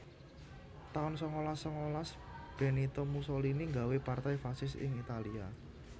taun sangalas sangalas Benito Mussolini nggawé Partai Fasis ing Italia